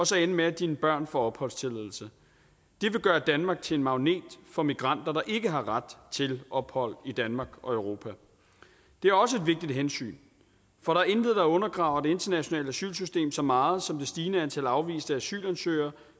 så ender med at dine børn får opholdstilladelse det vil gøre danmark til en magnet for migranter der ikke har ret til ophold i danmark og europa det er også et vigtigt hensyn for der er intet der undergraver det internationale asylsystem så meget som det stigende antal afviste asylansøgere